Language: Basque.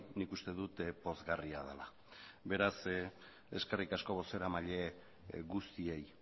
nik uste dut pozgarria dela beraz eskerrik asko bozeramaile guztiei